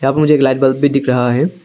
यहां पर मुझे एक लाइट बल्ब भी दिख रहा है।